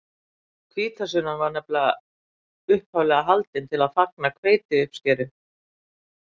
hvítasunnan var upphaflega haldin til að fagna hveitiuppskeru